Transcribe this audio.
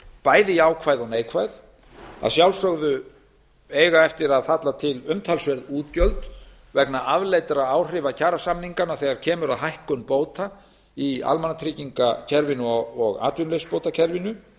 bæði jákvæð og neikvæð að sjálfsögðu eiga eftir að falla til umtalsverð útgjöld vegna afleiddra áhrifa kjarasamninganna þegar kemur að hækkun bóta í almannatryggingakerfinu og atvinnuleysisbótakerfinu